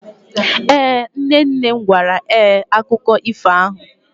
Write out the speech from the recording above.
Ee, nne nne m gwara ee akụkọ ifo ahụ.